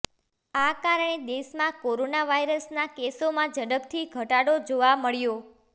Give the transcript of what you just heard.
આ કારણે દેશમાં કોરોના વાયરસના કેસોમાં ઝડપથી ઘટાડો જોવા મળ્યો